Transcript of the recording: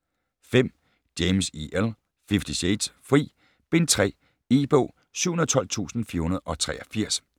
5. James, E. L.: Fifty shades: Fri: Bind 3 E-bog 712483